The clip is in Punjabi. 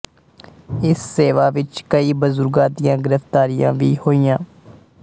ਇਸ ਸੇਵਾ ਵਿੱਚ ਕਈ ਬਜ਼ੁਰਗਾਂ ਦੀਆਂ ਗ੍ਰਿਫਤਾਰੀਆਂ ਵੀ ਹੋਈਆਂ